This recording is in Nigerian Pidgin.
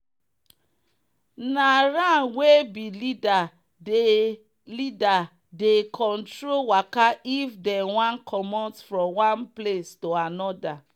na ram wey be leader dey leader dey control waka if them one commot from one place to another.